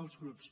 els grups